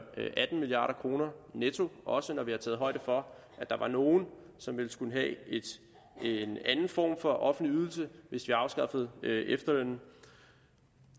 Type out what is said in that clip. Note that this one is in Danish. atten milliard kroner netto også når vi har taget højde for at der var nogle som vel skulle have en anden form for offentlig ydelse hvis vi afskaffede efterlønnen